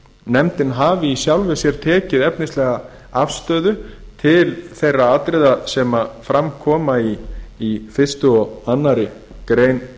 nefndin hafi í sjálfu sér tekið efnislega afstöðu til þeirra atriða sem fram koma í fyrsta og aðra grein